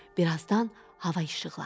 Bir azdan hava işıqlandı.